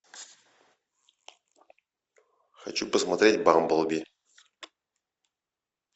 хочу посмотреть бамблби